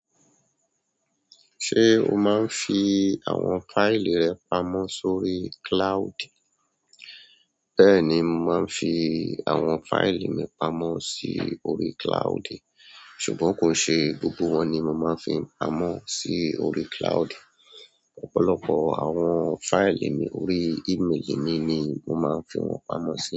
Ṣé o máa ń fi àwọn fáìlì rẹ pamọ̀ sórí cloud? Bẹ́ẹ̀ni, mo máa ń fi àwọn fáìlì mi pamọ́ sí orí cloud. Ṣùgbọ́n kò n ṣe gbogbo wọn ni mo máa ń fi pamọ́ sí orí cloud. Ọ̀pọ̀lọpọ̀ àwọn fáìlì mi orí ìmeélì mi ni mo máa ń fi wọ́n pamọ́ sí.